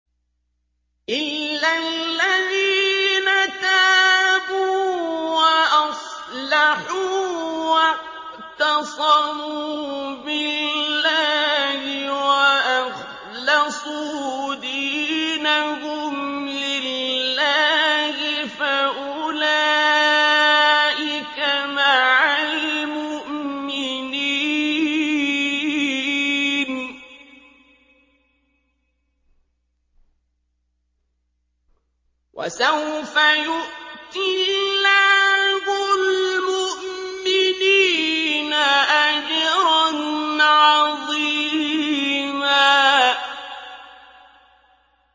إِلَّا الَّذِينَ تَابُوا وَأَصْلَحُوا وَاعْتَصَمُوا بِاللَّهِ وَأَخْلَصُوا دِينَهُمْ لِلَّهِ فَأُولَٰئِكَ مَعَ الْمُؤْمِنِينَ ۖ وَسَوْفَ يُؤْتِ اللَّهُ الْمُؤْمِنِينَ أَجْرًا عَظِيمًا